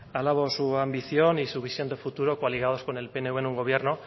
alabo su ambición y su visión de futuro coaligados con el pnv en un gobierno